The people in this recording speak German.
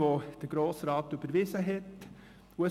Der Grosse Rat hat diese Motion überwiesen.